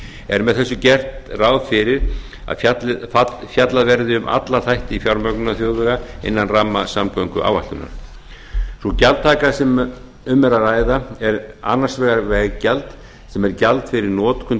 er með þessu gert ráð fyrir að fjallað verði um alla þætti fjármögnunar þjóðvega innan ramma samgönguáætlunar sú gjaldtaka sem um er að ræða er annars vegar veggjald sem er gjald fyrir notkun